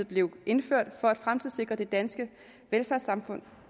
blev indført for at fremtidssikre det danske velfærdssamfund